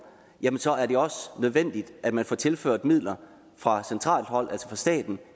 jamen så er det også nødvendigt at man får tilført midler fra centralt hold altså fra staten